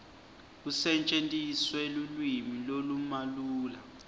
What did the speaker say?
kusetjentiswe lulwimi lolumalula